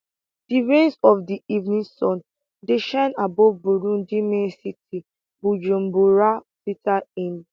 di rays of di evening sun dey shine above burundi main city bujumbura filter in